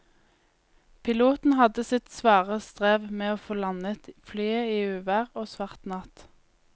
Piloten hadde sitt svare strev med å få landet flyet i uvær og svart natt.